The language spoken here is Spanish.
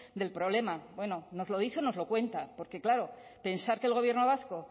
del problema bueno nos lo dice o no los cuenta porque claro pensar que el gobierno vasco